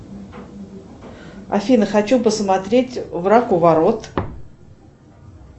афина хочу посмотреть враг у ворот